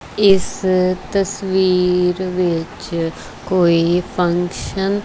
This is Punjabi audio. ਇੱਸ ਤਸਵੀਰ ਵਿੱਚ ਕੋਈ ਫੰਕਸ਼ਨ --